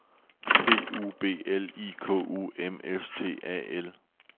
P U B L I K U M S T A L